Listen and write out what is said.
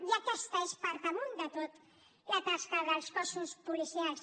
i aquesta és per damunt de tot la tasca dels cossos policials